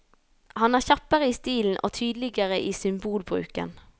Han er kjappere i stilen og tydeligere i symbolbruken.